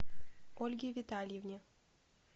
ольге витальевне